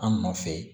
An nɔfɛ